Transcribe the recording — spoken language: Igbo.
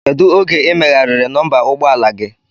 Kedụ oge i meghariri nọmba ụgbọ ala gi?